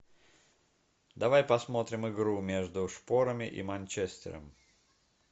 давай посмотрим игру между шпорами и манчестером